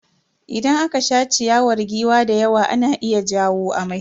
Idan aka sha ciyawar giwa da yawa na iya jawo amai.